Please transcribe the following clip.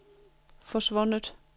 forsvundet